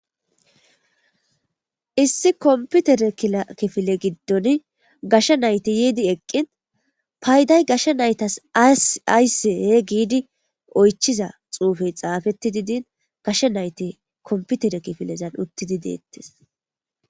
issi komputere kila kifile giddon gashsha nayti yiidi eqqin payday gashsha naytas aysee giidi oychiza xuufey xaafetti didin gashe nayti komputere kifilezan uttidi deettes